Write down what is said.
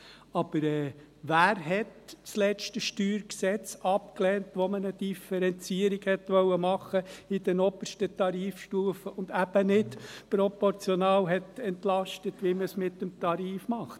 Aber wer hat das letzte StG abgelehnt, als man eine Differenzierung machen wollte in den obersten Tarifstufen und man eben nicht proportional entlastet hat, wie man es mit dem Tarif macht?